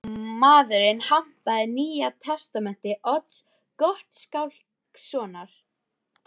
Maðurinn hampaði Nýja testamenti Odds Gottskálkssonar.